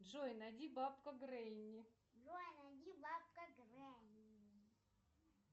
джой найди бабка гренни